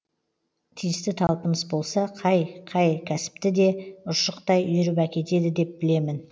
тиісті талпыныс болса қай қай кәсіпті де ұршықтай үйіріп әкетеді деп білемін